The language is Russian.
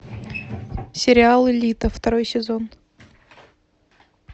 сериал элита второй сезон